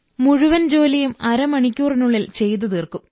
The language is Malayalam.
മുഴുവൻ ജോലിയും അരമണിക്കൂറിനുള്ളിൽ ചെയ്തുതീർക്കും